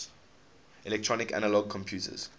electronic analog computers